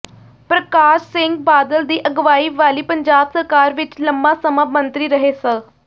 ਪ੍ਰਕਾਸ਼ ਸਿੰਘ ਬਾਦਲ ਦੀ ਅਗਵਾਈ ਵਾਲੀ ਪੰਜਾਬ ਸਰਕਾਰ ਵਿੱਚ ਲੰਮਾਂ ਸਮਾਂ ਮੰਤਰੀ ਰਹੇ ਸ